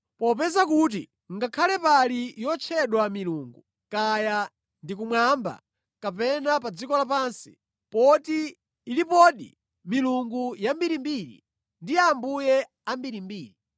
Popeza kuti ngakhale pali yotchedwa milungu, kaya ndi kumwamba kapena pa dziko lapansi (poti ilipodi milungu yambirimbiri ndi ambuye ambirimbiri),